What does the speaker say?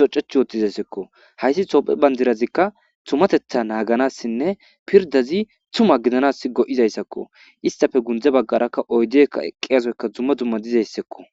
toceth utizeko , hays tophiya bandirazika tumatetha naganaainne pirdaz tuma gidanas go'izaysako , istappe gunde bagaraka oydek eqiyasoyka duma dumma detesko.